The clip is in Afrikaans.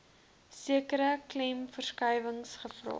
sekere klemverskuiwings gevra